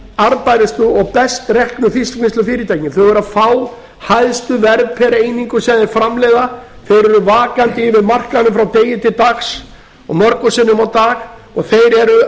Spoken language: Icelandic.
arðbærustu og best reknu fiskvinnslufyrirtækin þau eru að fá hæstu verð per einingu sem þeir framleiða þeir eru vakandi yfir markaðnum frá degi til dags og mörgum sinnum á dag og þeir eru